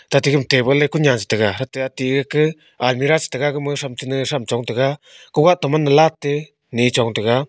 tate gama table e kunyan chetega tate ati ake almirah chetega gama shamtene shamchong taiga kogah taman lat te ne chong taiga.